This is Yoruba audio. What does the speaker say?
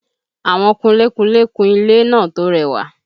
Àwọn kunlé kunlé kun ilé náà tó rẹwà